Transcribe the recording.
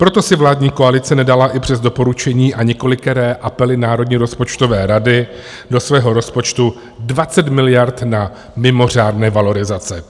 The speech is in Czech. Proto si vládní koalice nedala i přes doporučení a několikeré apely Národní rozpočtové rady do svého rozpočtu 20 miliard na mimořádné valorizace.